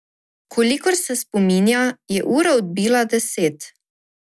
Kolikor se spominja, je ura odbila deset.